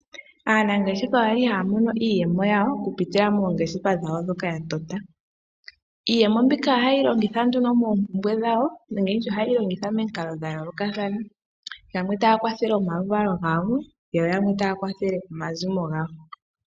Aanangeshefa oye li haya mono iiyemo yawo okupitila moongeshefa dhawo ndhoka ya tota. Iiyemo mbika ohaye yi longitha nduno moompumbwe dhawo, nenge ndi tye ohaye yi longitha momikalo dha yoolokathana, yamwe taya kwathele omaluvalo gawo, yo yamwe taya kwathele omazimo gawo.